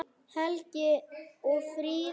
Helgi og Fríða.